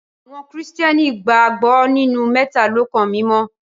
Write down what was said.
Awọn kristiani gbagbọ ninu Mẹtalọkan Mimọ.